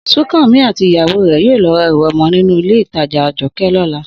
Súnkànmí àti ìyàwó rẹ̀ yóò lọ ra ẹrù ọmọ nínú Ilé-ìtajà Àjọkẹ̀ lọ́la